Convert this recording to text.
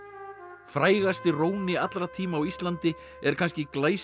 frægasti róni allra tíma á Íslandi er kannski